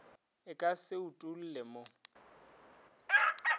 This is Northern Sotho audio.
e ka se utolle mo